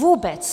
Vůbec.